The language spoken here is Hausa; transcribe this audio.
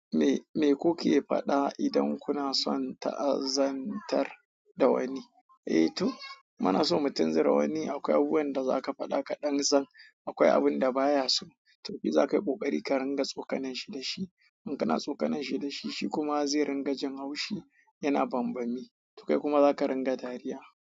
Me-me ku ke faɗa idan kuna son ta'azantar da wani? Eh to, muna so mu tunzura wani, akwai abubuwan da za ka faɗa kaɗan zan, akwai abun da baya so. To zakayi ƙoƙarin ka rinƙa tsukalar shi dashi. In kana tsokananshi da shi, shi kuma zai ringa jin haushi yana bambammi. To kai kuma za ka ringa dariya.